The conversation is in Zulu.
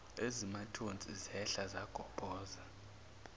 ezimathonsi zehla zagobhoza